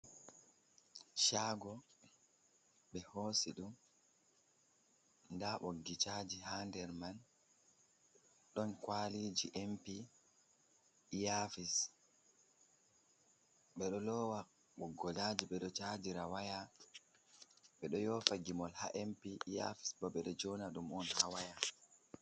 Shago ɓe hosi ɗum nda ɓoggi caji hander man, ɗon kwaliji m pi, iyafis, ɓeɗo lowa boggol caji, ɓeɗo chajira waya, ɓeɗo yofa gimol ha m pi, iyafis bo ɓeɗo jona ɗum on ha waya.